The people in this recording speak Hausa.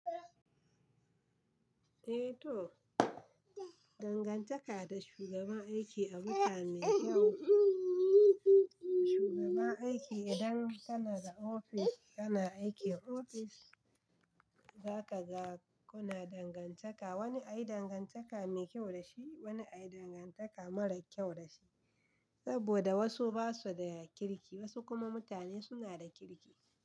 Eh to, dangantaka da shugaban aiki abune me kyau. Shugaban aiki idan kana da office, kana aikin office, za ka ga kuna dangantaka. Wani ai dangantaka me kyau da shi, wani ai dangantaka mara kyau da shi. Saboda wasu ba su da kirki, wasu kuma mutane suna da kirki.